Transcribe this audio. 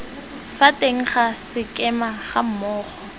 fa teng ga sekema gammogo